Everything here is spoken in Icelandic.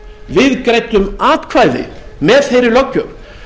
við greiddum atkvæði með þeirri löggjöf